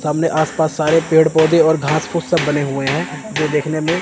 सामने आस पास सारे पेड़ पौधे और घास पूस सब बने हुए हैं जो देखने में--